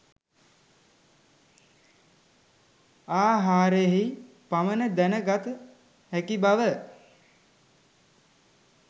ආහාරයෙහි පමණ දැන ගත හැකි බව